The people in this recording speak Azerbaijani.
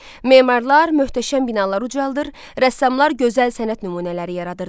Memarlar möhtəşəm binalar ucaldılır, rəssamlar gözəl sənət nümunələri yaradırdılar.